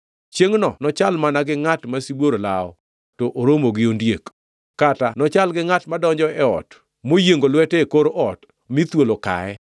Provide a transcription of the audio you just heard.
Chiengʼno nochal mana gi ngʼat ma sibuor lawo, to oromo gi ondiek, kata nochal gi ngʼat modonjo e ot, moyiengo lwete e kor ot, mi thuol okaye!